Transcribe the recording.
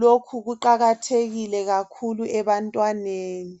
lokhu kuqakathekile kakhulu ebantwaneni.